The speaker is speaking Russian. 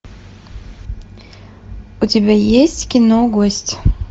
у тебя есть кино гость